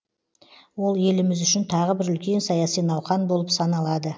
ол еліміз үшін тағы бір үлкен саяси науқан болып саналады